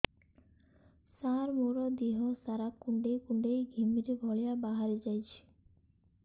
ସାର ମୋର ଦିହ ସାରା କୁଣ୍ଡେଇ କୁଣ୍ଡେଇ ଘିମିରି ଭଳିଆ ବାହାରି ଯାଉଛି